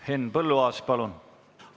Henn Põlluaas, palun!